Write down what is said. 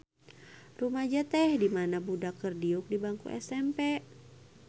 Rumaja teh dimana budak keur diuk di bangku SMP.